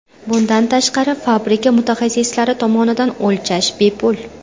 Bundan tashqari, fabrika mutaxassislari tomonidan o‘lchash bepul.